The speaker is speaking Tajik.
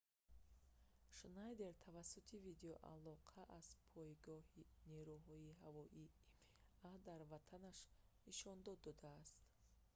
шнайдер тавассути видеоалоқа аз пойгоҳи нерӯҳои ҳавоии има дар ватанаш нишондод додааст